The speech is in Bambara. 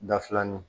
Da filanin